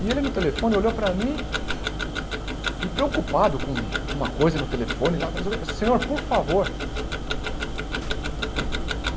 E ele, no telefone, olhou para mim e, preocupado com com uma coisa no telefone, lá não sei o quê... Senhor, por favor?